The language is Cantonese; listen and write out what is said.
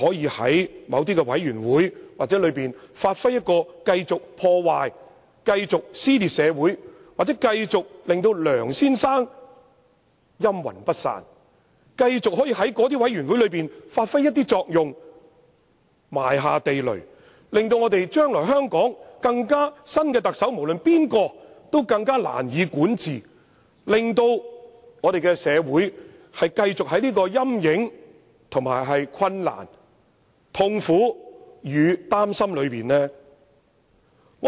這些人又會否在某些委員會中發揮繼續破壞、撕裂社會的作用，令梁先生"陰魂不散"，繼續影響這些委員會的工作，埋下地雷，令將來無論誰人當上特首也更難管治，令香港社會繼續處於其陰影之下，以及困難、痛苦與擔憂之中？